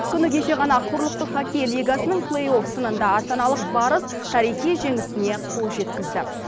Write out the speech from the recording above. күні кеше қана құрылықтық хоккей лигасынынң плэйофсынында астаналық барыс тарихи жеңісіне қол жеткізді